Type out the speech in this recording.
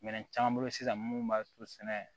Minɛn caman bolo sisan minnu b'a to sɛnɛ